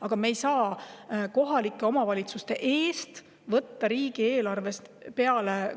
Aga me ei saa kohalike omavalitsuste eest võtta riigieelarves